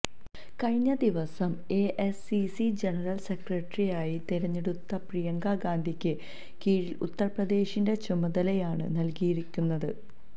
കഴിഞ്ഞ ദിവസം AICC general സെക്രട്ടറിയായി തിരഞ്ഞെടുത്ത പ്രിയങ്കാ ഗാന്ധിക്ക് കിഴക്കൻ ഉത്തർപ്രദേശിന്റെ ചുമതലയാണ് നൽകിയിരിക്കുന്നത്